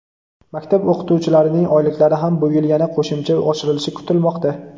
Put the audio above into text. maktab o‘qituvchilarining oyliklari ham bu yil yana qo‘shimcha oshirilishi kutilmoqda.